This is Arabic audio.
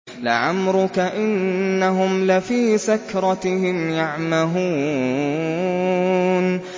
لَعَمْرُكَ إِنَّهُمْ لَفِي سَكْرَتِهِمْ يَعْمَهُونَ